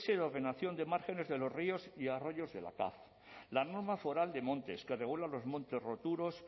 de ordenación de márgenes de los ríos y arroyos de la cav la norma foral de montes que regula los montes roturos